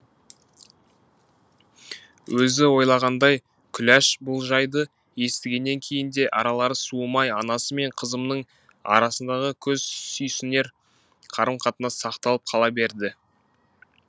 өзі ойлағандай күләш бұл жайды естігеннен кейін де аралары суымай анасы мен қызымның арасындағы көз сүйсінер қарым қатынас сақталып қала берді